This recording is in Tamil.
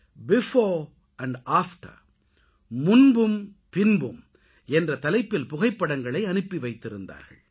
பீஃபோர் ஆண்ட் ஆஃப்டர் முன்பும் பின்பும் என்ற தலைப்பில் புகைப்படங்களை அனுப்பி வைத்திருந்தார்கள்